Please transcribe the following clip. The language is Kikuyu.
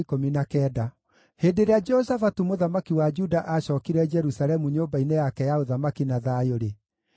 Hĩndĩ ĩrĩa Jehoshafatu mũthamaki wa Juda aacookire Jerusalemu nyũmba-inĩ yake ya ũthamaki na thayũ-rĩ,